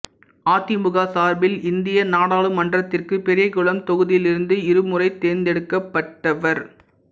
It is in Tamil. அதிமுக சார்பில் இந்திய நாடாளுமன்றத்திற்கு பெரியகுளம் தொகுதியிலிருந்து இரு முறை தேர்ந்தெடுக்கப்பட்டவர்